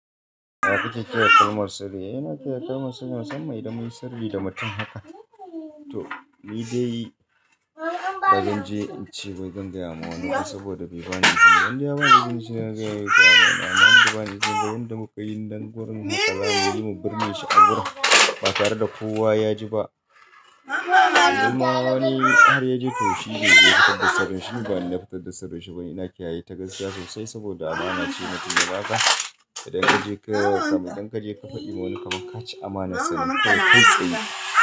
Na fita ƙiya ƙalmar sirri, ina ƙiya ƙalmar sirrin wassan mai da mun yi sirri da mutum haka. To, ni dai ba zan je in ce wai zan gayawa wani ba saboda bai bani izini. Dan ya bani izini shiyagar da amana, amma bai bani izini. Dan da muka yi dandagon haka, za mu binne shi a gurin ba tare da kowa ya ji ba. Wani wani har ya je taushi zai je fitar da sirrin shi, bai na fitar da sirrin shi ba. Ina kiyaye ta gaskiya sosai saboda amana ce matum ya baka. Idan an je ka, kam dan ka je ka faɗi wa wani kaman ka ci amana sirri kai kuma tsoro.